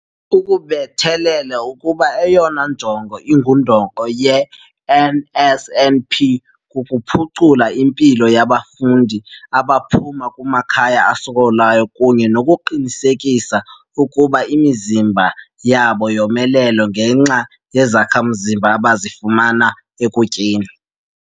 Ukubethelele ukuba eyona njongo ingundoqo ye-NSNP kukuphucula impilo yabafundi abaphuma kumakhaya asokolayo kunye nokuqinisekisa ukuba imizimba yabo yomelele ngenxa yezakha-mzimba abazifumana ekutyeni.